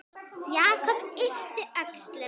Jakob yppti öxlum.